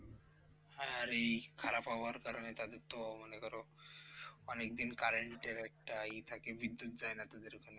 হ্যাঁ এই খারাপ আবহওয়ার কারণে তাদের তো মনে করো অনেকদিন current র একটা এ থাকে বিদ্যুত যায়না তাদের ওখানে।